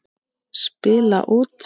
Spila út.